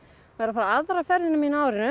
var að fara aðra ferðina mína á árinu